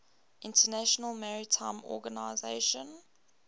international maritime organization